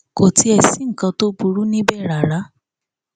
kò tiẹ sí nǹkan tó burú níbẹ rárá